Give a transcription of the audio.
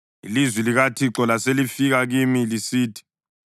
Ilizwi likaThixo laselifika kimi lisithi;